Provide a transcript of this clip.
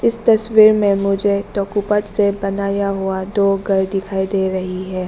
तस्वीर में मुझे टोकों पर से बनाया हुआ दो घर दिखाई दे रही है।